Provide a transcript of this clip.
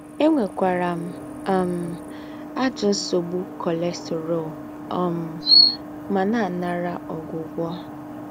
Ènwékwàrà m um àjọ́ ńsógbu nké cholesterol um mà nà-ànàrà ógwùgwọ́